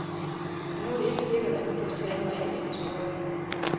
Men nu var det ikke sikkert, at nytårstalen var andet end en spøg.